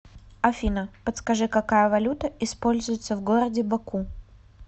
афина подскажи какая валюта используется в городе баку